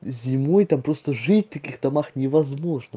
зимой там просто жить в таких домах не возможно